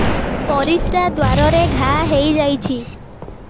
ପରିଶ୍ରା ଦ୍ୱାର ରେ ଘା ହେଇଯାଇଛି